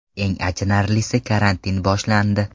Eng achinarlisi, karantin boshlandi.